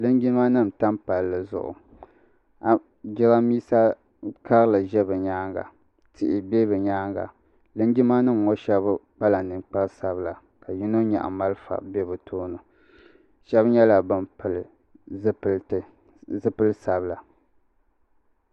Linjimanima n-tam palli zuɣu jirambiisa karili ʒe bɛ nyaaŋa tihi be bɛ nyaaŋa linjimanima ŋɔ shɛba kpala ninkpar'sabila ka yino nyaɣi malifa be bɛ tooni shɛba nyɛla ban pili zipiliti zipili sabila